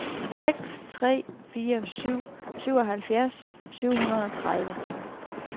seks tre fire syv syvoghalvfjerds syv hundrede og tredive